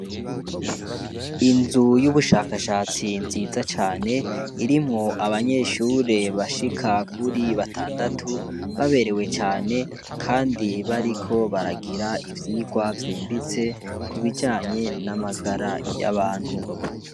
Inzu y'ubushakashatsi nziza cane irimwo abanyeshure bashika kuri batandatu baberewe cane, kandi bariko baragira ivyirwa vyimbitse kubijanye n'amagara y'abantu.